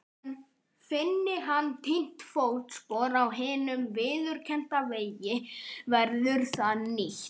En finni hann týnt fótspor á hinum viðurkennda vegi verður það nýtt.